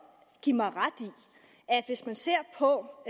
give mig ret i at hvis man ser på